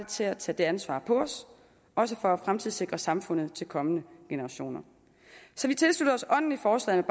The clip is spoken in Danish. til at tage det ansvar på os også for at fremtidssikre samfundet til kommende generationer så vi tilslutter os ånden i forslaget